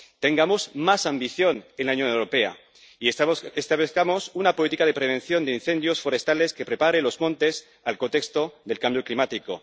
Tengamos más ambición en la Unión Europea y establezcamos una política de prevención de incendios forestales que prepare los montes al contexto del cambio climático.